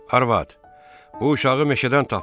Arvad, bu uşağı meşədən tapmışam.